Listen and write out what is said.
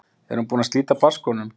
Er hún búin að slíta barnsskónum?